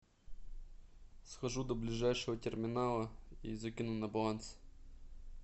схожу до ближайшего терминала и закину на баланс